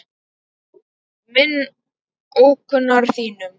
minn ókunnar þínum